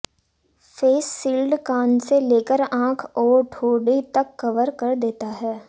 face shield कान से लेकर आंख और ठोड़ी तक कवर कर देता है